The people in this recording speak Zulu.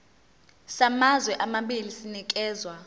samazwe amabili sinikezwa